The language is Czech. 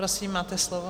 Prosím, máte slovo.